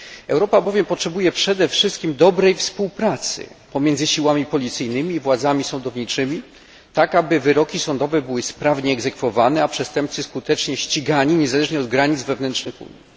Europa bowiem potrzebuje przed wszystkim dobrej współpracy pomiędzy siłami policyjnymi i władzami sądowniczymi, tak aby wyroki sądowe były sprawnie egzekwowane, a przestępcy skutecznie ścigani, niezależnie od granic wewnętrznych Unii.